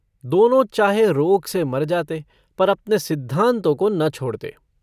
दोनों चाहे रोग से मर जाते पर अपने सिद्धान्तों को न छोड़ते।